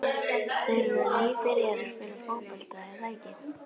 Þeir eru nýbyrjaðir að spila fótbolta, er það ekki?